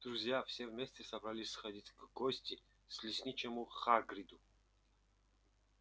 друзья все вместе собрались сходить в гости к лесничему хагриду